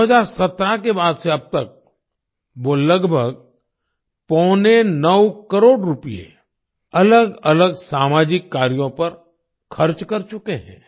2017 के बाद से अब तक वो लगभग पौने नौ करोड़ रूपए अलगअलग सामाजिक कार्यों पर खर्च कर चुके हैं